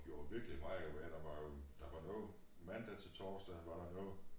Det var virkelig meget uha der var jo der var noget mandag til torsdag var der noget